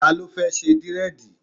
Ta ló fẹ́ ṣe dírẹ̀dì?